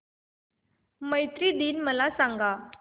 मैत्री दिन मला सांगा